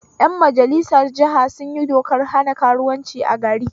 Ƴan majalisar jiha sunyi dokar hana karuwanci a gari